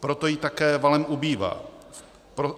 Proto jí také valem ubývá.